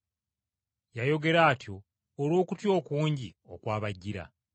Yayogera atyo olw’okutya okungi okwabajjira.